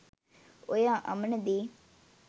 ඔය අමන දේ